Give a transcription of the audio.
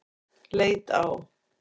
Leit á